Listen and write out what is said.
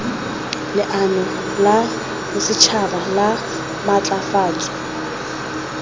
leano la bosetšhaba la maatlafatso